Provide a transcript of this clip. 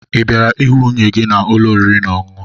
Ị bịara ịhụ nwunye gị n'ụlọ oriri na ọṅụṅụ?